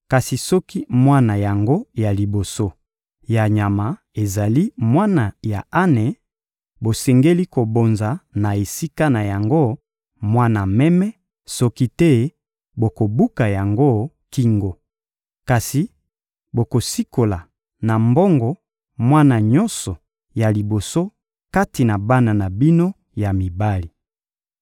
Kasi soki mwana yango ya liboso ya nyama ezali mwana ya ane, bosengeli kobonza na esika na yango mwana meme; soki te, bokobuka yango kingo. Kasi bokosikola na mbongo mwana nyonso ya liboso kati na bana na bino ya mibali.